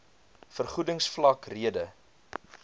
vergoedings vlak rede